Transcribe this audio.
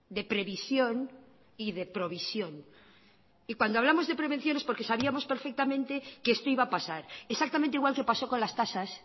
de previsión y de provisión y cuando hablamos de prevención es porque sabíamos perfectamente que esto iba a pasar exactamente igual que pasó con las tasas